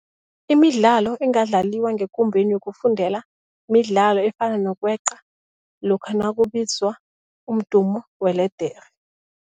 Imidlalo engadlaliwa ngekumbeni yokufundela midlalo efana nokweqa lokha nakubizwa umdumo weledere.